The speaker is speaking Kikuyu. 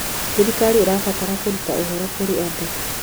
Thirikari ĩrabatara kũruta ũhoro kũrĩ andũ.